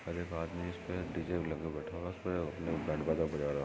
और एक आदमी इसमें डीजे भी लगाकर बैठा हुआ है उसमे बैंड बाजा बजा रहा है।